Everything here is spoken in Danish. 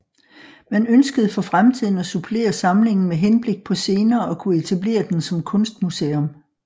Man ønskede for fremtiden at supplere samlingen med henblik på senere at kunne etablere den som kunstmuseum